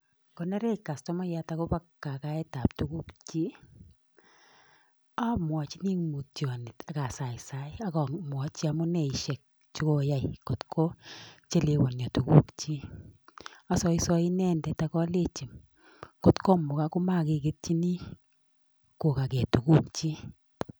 Ngonerech customayat akobo kakaetab tukukchik, amwochini ing mutyonet ak asaisai ak amwochi amuneisiek che koyai kot kochelewonyo tukukchik, asoisoi inendet ak alechi ngot komukak komakeketyini kokakee tukukchik.